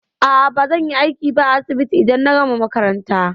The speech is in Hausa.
A'a, bazan yi aiki a asibiti ba idan na gama makaranta.